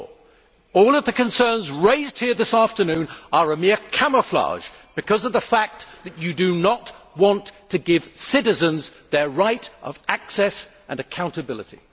4. All of the concerns raised here this afternoon are a mere camouflage because of the fact that you do not want to give citizens their right of access and accountability.